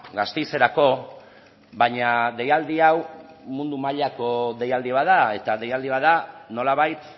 gasteizerako baina deialdi hau mundu mailako deialdi bat da eta deialdi bat da nolabait